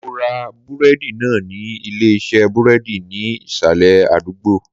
Mo ra búrédì náà ní Ilé isé búrédì ní ìsàlè àdúgbò